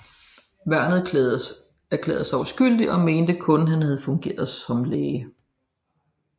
Værnet erklærede sig uskyldig og mente kun han har fungeret som læge